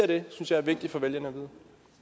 det synes jeg er vigtigt for vælgerne at vide